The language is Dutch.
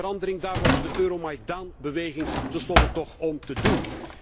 En die verandering, daar was het de Euromaidan beweging tenslotte toch om te doen.